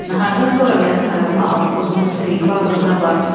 Nahardan sonra mənim tarımı al, tozunu sil, bağrına bas.